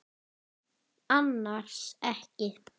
Annars ekki.